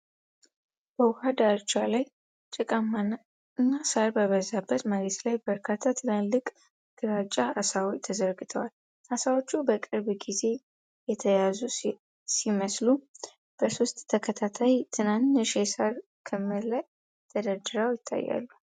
በውሃ ዳርቻ ላይ ጭቃማና ሣር በበዛበት መሬት ላይ በርካታ ትላልቅ ግራጫ ዓሦች ተዘርግፈዋል። ዓሦቹ በቅርብ ጊዜ የተያዙ ሲመስሉ፤ በሦስት ተከታታይ ትናንሽ የሣር ክምር ላይ ተደርድረው ይታያሉ።